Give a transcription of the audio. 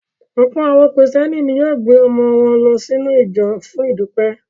Ọ̀pọ̀ àwọn Kìrìtẹ́ẹ́nì ni yóò gbé àwọn ọmọ wọn lọ sínú ìjọ fún ìdúpẹ́.